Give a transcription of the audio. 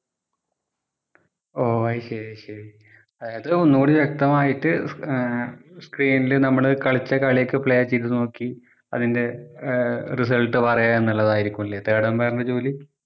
ഓഹ് അയ്‌ശെരി അയ്‌ശെരി അതായത് ഒന്നൂടി വ്യക്തമായിട്ട് ആഹ് screen ല് നമ്മള് കളിച്ച കളി ഒക്കെ play ചെയ്‌ത്‌ നോക്കി അതിൻ്റെ result പറയുക എന്നുള്ളതാരിക്കും അല്ലെ third umpire ൻ്റെ ജോലി